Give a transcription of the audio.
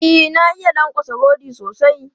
E, na iya lankwatsa rodi sosai.